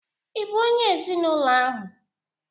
Ị bụ onye ezinụlọ ahụ?